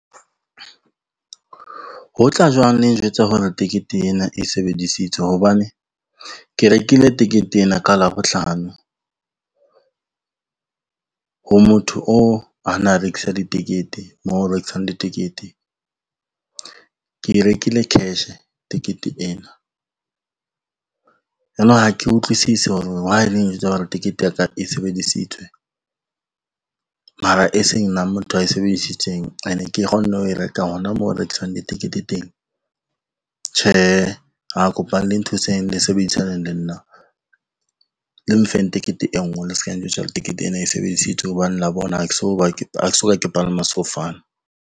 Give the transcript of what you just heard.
Ho tla jwang le njwetse hore tekete ena e sebedisitswe hobane, ke rekile tekete ena ka Labohlano ho motho oo a na rekisang ditekete, mo ho rekisang ditekete. Ke e rekile cash tekete ena, yonong ha ke utlwisisi hore why e leng njwetse hore tikete ya ka e sebedisitswe mara e se nna motho ae sebedisitseng ene ke kgonne ho e rekang hona moo ho rekiswang ditekete teng. Tjhe, ah kopa le nthuseng le sebedisaneng le nna le mfeng tekete e ngwe le ska njwetsa tekete ena e sebedisitswe hobane la bona ha ke so ka ke palama sefofane.